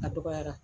A dɔgɔyara